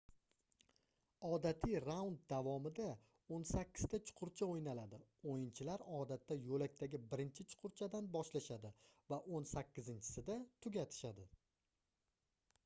odatiy raund davomida oʻn sakkizta chuqurcha oʻynaladi oʻyinchilar odatda yoʻlakdagi birinchi chuqurchadan boshlashadi va oʻn sakkizinchisida tugatishadi